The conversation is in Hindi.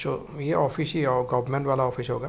जो ये ऑफिस ही गवर्नमेंट वाला ऑफिस होगा।